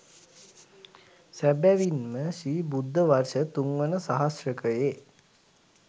සැබැවින් ම ශ්‍රී බුද්ධ වර්ෂ තුන්වන සහස්‍රකයේ